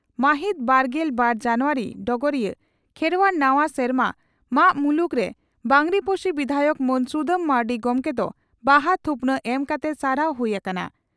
ᱢᱟᱦᱤᱛ ᱵᱟᱨᱜᱮᱞ ᱵᱟᱨ ᱡᱟᱱᱩᱣᱟᱨᱤ (ᱰᱚᱜᱚᱨᱤᱭᱟᱹ) ᱺ ᱠᱷᱮᱨᱣᱟᱲ ᱱᱟᱣᱟ ᱥᱮᱨᱢᱟ ᱢᱟᱜᱽ ᱢᱩᱞᱩᱜ ᱨᱮ ᱵᱟᱸᱜᱽᱨᱤᱯᱳᱥᱤ ᱵᱤᱫᱷᱟᱭᱚᱠ ᱢᱟᱱ ᱥᱩᱫᱟᱹᱢ ᱢᱟᱨᱱᱰᱤ ᱜᱚᱢᱠᱮ ᱫᱚ ᱵᱟᱦᱟ ᱛᱷᱩᱯᱱᱟᱜ ᱮᱢ ᱠᱟᱛᱮ ᱥᱟᱨᱦᱟᱣ ᱦᱩᱭ ᱟᱠᱟᱱᱟ ᱾